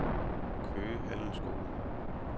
Køge Handelsskole